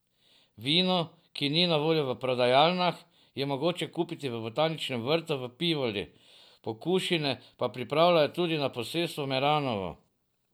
Vino, ki ni na voljo v prodajalnah, je mogoče kupiti v botaničnem vrtu v Pivoli, pokušine pa pripravljajo tudi na posestvu Meranovo.